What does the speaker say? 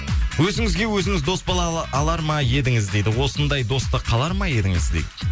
өзіңізге өзіңіз дос алар ма едіңіз дейді осындай досты қалар ма едіңіз дейді